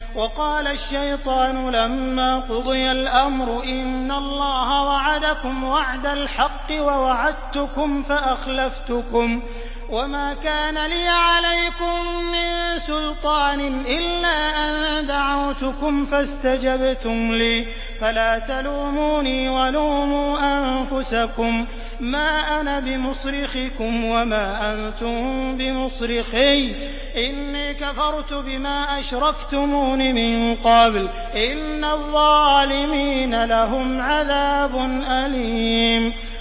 وَقَالَ الشَّيْطَانُ لَمَّا قُضِيَ الْأَمْرُ إِنَّ اللَّهَ وَعَدَكُمْ وَعْدَ الْحَقِّ وَوَعَدتُّكُمْ فَأَخْلَفْتُكُمْ ۖ وَمَا كَانَ لِيَ عَلَيْكُم مِّن سُلْطَانٍ إِلَّا أَن دَعَوْتُكُمْ فَاسْتَجَبْتُمْ لِي ۖ فَلَا تَلُومُونِي وَلُومُوا أَنفُسَكُم ۖ مَّا أَنَا بِمُصْرِخِكُمْ وَمَا أَنتُم بِمُصْرِخِيَّ ۖ إِنِّي كَفَرْتُ بِمَا أَشْرَكْتُمُونِ مِن قَبْلُ ۗ إِنَّ الظَّالِمِينَ لَهُمْ عَذَابٌ أَلِيمٌ